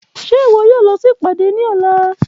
Ṣe iwọ yoo lọ si ipade ni ọla?.